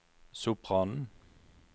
sopranen